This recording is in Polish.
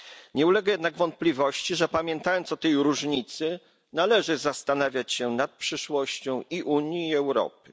Nie ulega jednak wątpliwości, że pamiętając o tej różnicy należy zastanawiać się nad przyszłością i Unii i Europy.